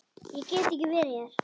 Ég get ekki verið hér.